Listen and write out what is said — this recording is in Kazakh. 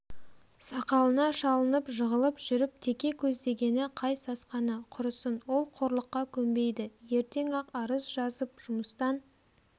сақалына шалынып жығылып жүріп теке көзденгені қай сасқаны құрысын ол қорлыққа көнбейді ертең-ақ арыз жазып жұмыстан